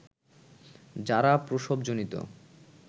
যারা প্রসবজনিত